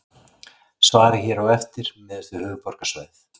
Svarið hér á eftir miðast við höfuðborgarsvæðið.